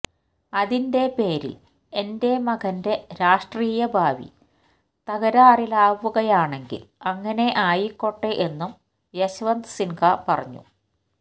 അതിന്റെ പേരില് എന്റെ മകന്റെ രാഷ്ട്രീയ ഭാവി തകരാറിലാവുകയാണെങ്കില് അങ്ങനെ ആയിക്കോട്ടെ എന്നും യശ്വന്ത് സിന്ഹ പറഞ്ഞു